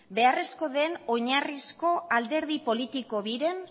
beharrezko den oinarrizko alderdi politiko biren